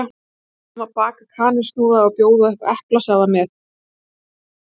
Við ætlum að baka kanilsnúða og bjóða upp á eplasafa með.